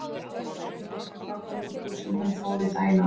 Svo segir hún honum frá göngutúr sem hún fór í daginn áður.